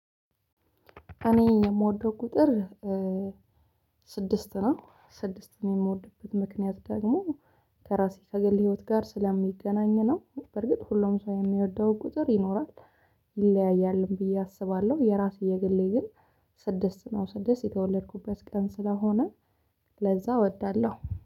እኔ የምወደው ቁጥር ስድስት ነው። ስድስት ነው የምወድበት ምክንያት ደግሞ ከራሴ ከገል ህይወት ጋር ስለሚገናኝ ነው። በርግጥ ሁሉም ሰው የሚወደው ቁጥር ይኖራል ይለያያልም ብዬ አስባለሁ። የራስ የግሌ ግን ስድስት ነው ስድስት የተወለድኩበት ቀን ስለሆነ። ለዛ እወዳለሁ